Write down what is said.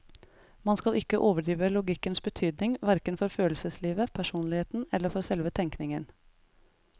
Man skal ikke overdrive logikkens betydning, hverken for følelseslivet, personligheten eller for selve tenkningen.